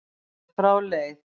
þegar frá leið.